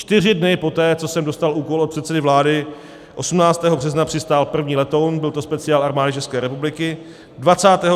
Čtyři dny poté, co jsem dostal úkol od předsedy vlády, 18. března, přistál první letoun, byl to speciál Armády České republiky.